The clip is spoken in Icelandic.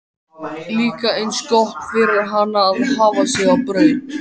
Líka eins gott fyrir hana að hafa sig á braut!